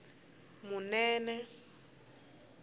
munene